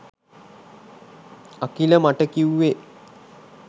අකිල මට කිව්වේ